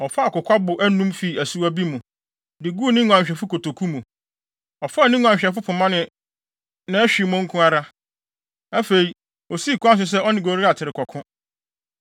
Ɔfaa kokwabo anum fii asuwa bi mu, de guu ne nguanhwɛfo kotoku mu. Ɔfaa ne nguanhwɛfo pema ne nʼahwimmo nko ara. Afei, osii kwan so sɛ ɔne Goliat rekɔko.